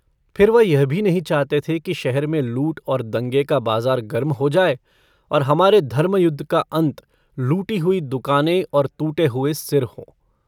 फिर वह यह भी नहीं चाहते थे कि शहर में लूट और दंगे का बाज़ार गर्म हो जाए और हमारे धर्मयुद्ध का अन्त लूटी हुई दूकानें और टूटे हुए सिर हों।